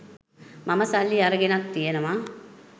මම සල්ලි අරගෙනත් තියෙනවා.